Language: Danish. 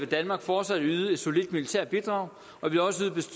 danmark fortsat yde et solidt militært bidrag og vil også